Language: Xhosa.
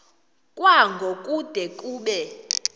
kwango kude kube